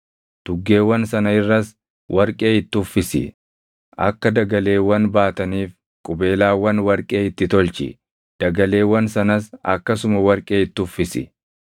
Tuggeewwan sana irras warqee itti uffisi. Akka dagaleewwan baataniif qubeelaawwan warqee itti tolchi; dagaleewwan sanas akkasuma warqee itti uffisi.